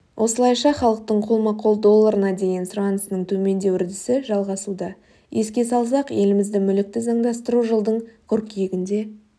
осылайша халықтың қолма-қол долларына деген сұранысының төмендеу үрдісі жалғасуда еске салсақ елімізді мүлікті заңдастыру жылдың қырқүйегінде